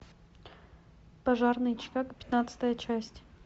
пожарные чикаго пятнадцатая часть